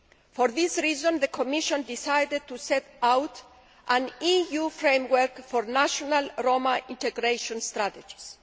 For this reason, the Commission decided to set out an EU Framework for National Roma Integration Strategies'.